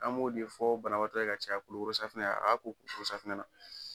An b'o de fɔ banabagatɔ ka caya kulukoro safunɛ a ka ko kulukoro safunɛ na.